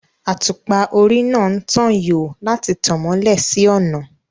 Àtùpà orí náà ń tan yòò láti tàn mọ́lẹ̀ sí ọ̀nà